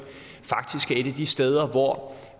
af de steder hvor